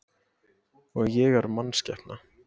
Og ég er mannskepna.